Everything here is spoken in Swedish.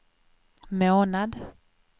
månad